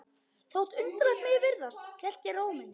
Þótt undarlegt megi virðast hélt ég ró minni.